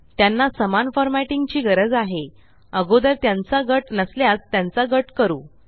त्यांना समान फॉर्मॅटिंग ची गरज आहे अगोदर त्यांचा गट नसल्यास त्यांचा गट करू